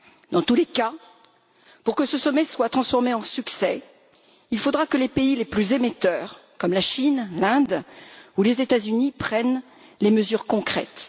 Dans tous les cas, pour que ce sommet soit couronné de succès, il faudra que les pays les plus émetteurs, comme la Chine, l'Inde ou les États Unis, prennent des mesures concrètes.